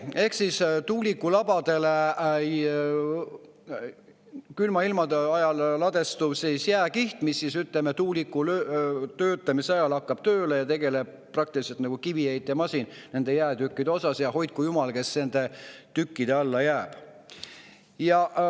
Ehk tuulikulabadele ladestub külma ilmaga jääkiht ja tuulik hakkab töötamise ajal praktiliselt tööle nagu kiviheitemasin,, ja hoidku jumal neid, kes nende tükkide alla jäävad.